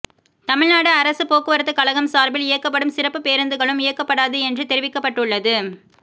தமிழ்நாடு அரசு போக்குவரத்துக்கழகம் சார்பில் இயக்கப்படும் சிறப்பு பேருந்துகளும் இயக்கப்படாது என்று தெரிவிக்கப்பட்டுள்ளது